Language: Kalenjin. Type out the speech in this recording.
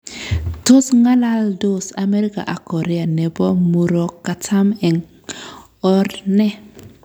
Tos ng'alaldos Amerika ak Korea nebo Murokatam eng or ne?